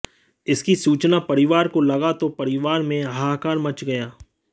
इसकी सूचना परिवार को लगा तो परिवार में हाहाकार मच गया